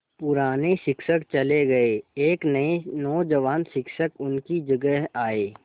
पुराने शिक्षक चले गये एक नये नौजवान शिक्षक उनकी जगह आये